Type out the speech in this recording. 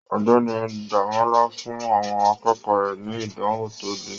Ọ̀gbẹ́ni Demola fún àwọn akẹ́kọ̀ọ́ rẹ ní ìdánwò to lè.